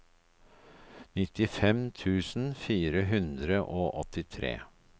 nittifem tusen fire hundre og åttitre